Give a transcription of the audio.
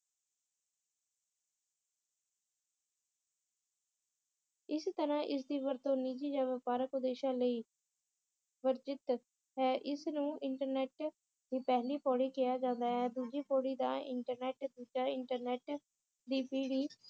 ਇਸ ਤਰਾਹ ਇਸ ਦੀ ਵਰਤੋਂ ਨਿਜੀ ਜਾਂ ਵਪਾਰਿਕ ਉਦੇਸ਼ਾਂ ਲਈ ਵਰਜਿਤ ਹੈ ਇਸ ਨੂੰ ਇੰਟਰਨੇਟ ਦੀ ਪਹਿਲੀ ਪੌੜੀ ਕਿਹਾ ਜਾਂਦਾ ਹੈ ਦੂਜੀ ਪੌੜੀ ਦਾ ਇੰਟਰਨੇਟ ਦੂਜਾ ਇੰਟਰਨੇਟ ਦੀ ਪੀੜੀ